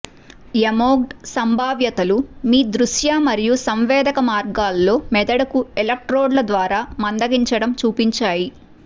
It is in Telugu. ఎమోక్డ్ సంభావ్యతలు మీ దృశ్య మరియు సంవేదక మార్గాల్లో మెదడుకు ఎలక్ట్రోడ్ల ద్వారా మందగించడం చూపించాయి